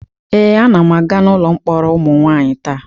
Ee, anam aga n'ụlọ mkpọrọ ụmụ nwanyị taa.